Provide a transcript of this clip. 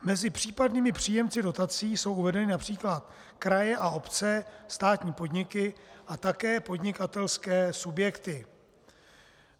Mezi případnými příjemci dotací jsou uvedeny například kraje a obce, státní podniky a také podnikatelské subjekty.